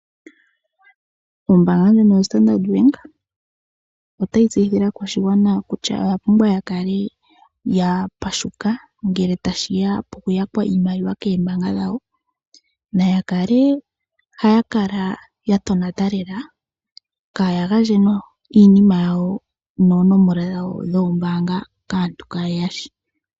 Ombaanga yoStandard Bank otayi tseyithile aakwashigwana kutya oyapumbwa ya kale yapashuka ngele tashi ya pokuyakwa iimaliwa koombaanga dhawo, naya kale haya kala yatonata lela kaaya gandje omauyelele gawo goombaanga kaantu kaaye ya shi.